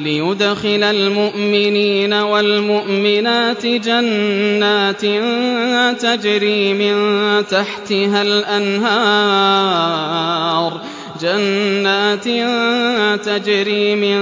لِّيُدْخِلَ الْمُؤْمِنِينَ وَالْمُؤْمِنَاتِ جَنَّاتٍ تَجْرِي مِن